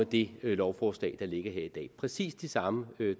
det lovforslag der ligger her i dag præcis de samme